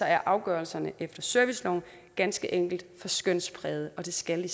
er afgørelserne efter serviceloven ganske enkelt for skønsprægede og det skal de